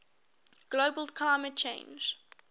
global climate change